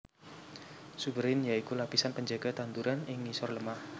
Suberin ya iku lapisan panjaga tanduran ing ngisor lemah